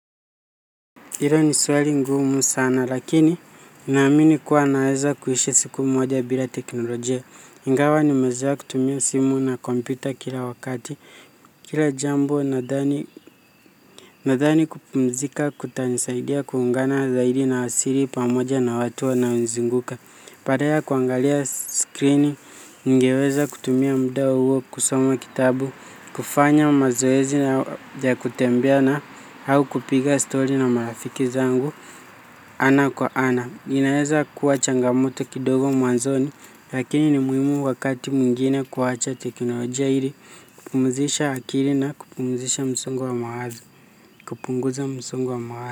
Ilo ni swali ngumu sana lakini naamini kuwa naweza kuhishi siku moja bila teknolojia. Ingawa nimezoea kutumia simu na kompyuta kila wakati. Kila jambo nadhani kupumzika, kutanisaidia, kuungana zaidi na asili pamoja na watu wanaonizinguka. Padala ya kuangalia screen, ningeweza kutumia muda huo, kusoma kitabu, kufanya mazoezi na ya kutembea na hau kupiga story na marafiki zangu, ana kwa ana. Inaeza kuwa changamoto kidogo mwanzoni, lakini ni muimu wakati mwingine kuwacha teknolojia ili, kupumzisha akili na kupumzisha msongo wa mawazo, kupunguza msongo wa mawazo.